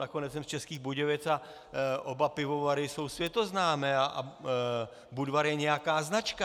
Nakonec jsem z Českých Budějovic a oba pivovary jsou světoznámé a Budvar je nějaká značka.